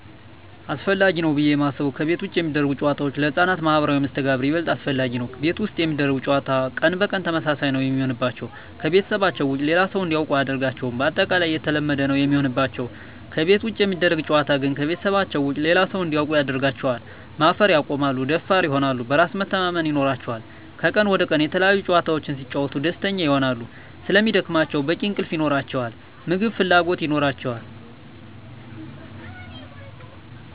አሰፈላጊ ነው ብዬ የማስበው ከቤት ውጭ የሚደረጉ ጨዋታዎች ለህፃናት ማህበራዊ መስተጋብር ይበልጥ አስፈላጊ ነው። ቤት ውስጥ የሚደረግ ጨዋታ ቀን በቀን ተመሳሳይ ነው የሚሆንባቸው , ከቤተሰባቸው ውጭ ሌላ ሰው እንዲያውቁ አያደርጋቸውም ባጠቃላይ የተለመደ ነው የሚሆንባቸው። ከቤት ውጭ የሚደረግ ጨዋታ ግን ከቤተሰባቸው ውጭ ሌላ ሰው እንዲያውቁ ያደርጋቸዋል, ማፈር ያቆማሉ, ደፋር ይሆናሉ, በራስ መተማመን ይኖራቸዋል," ከቀን ወደ ቀን የተለያዪ ጨዋታዎች ሲጫወቱ ደስተኛ ይሆናሉ ስለሚደክማቸው በቂ እንቅልፍ ይኖራቸዋል, የምግብ ፍላጎት ይኖራቸዋል።